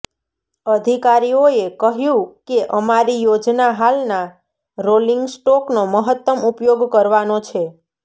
અધિકારીઓએ કહ્યું કે અમારી યોજના હાલનાં રોલિંગ સ્ટોકનો મહત્તમ ઉપયોગ કરવાનો છે